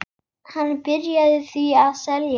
Hann byrjaði því að selja.